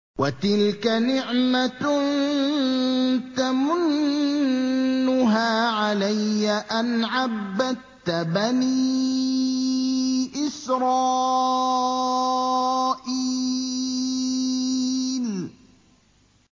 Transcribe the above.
وَتِلْكَ نِعْمَةٌ تَمُنُّهَا عَلَيَّ أَنْ عَبَّدتَّ بَنِي إِسْرَائِيلَ